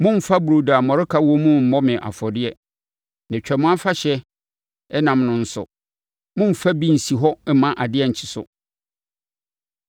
“Mommfa burodo a mmɔreka wɔ mu mmɔ me afɔdeɛ. Na Twam Afahyɛ ɛnam no nso, mommfa bi nsi hɔ mma adeɛ nkye so.